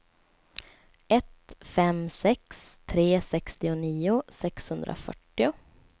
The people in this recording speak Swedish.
ett fem sex tre sextionio sexhundrafyrtio